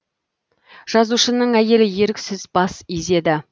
жазушының әйелі еріксіз бас изеді